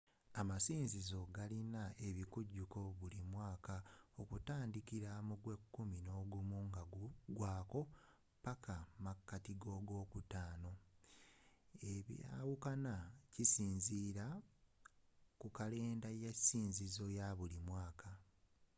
amasinzizo agasinga galina ebikujuko buli mwaaka okutandikila mu gw'ekumi nogumu nga gugwaako paka mu makati ga'ogwokutaano ebyawukana okusinziila ku kalenda y'esinzizo eyabulimwaaka